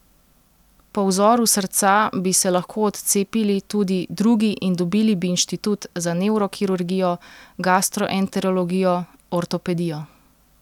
Po vzoru srca bi se lahko odcepili tudi drugi in dobili bi inštitut za nevrokirurgijo, gastroenterologijo, ortopedijo ...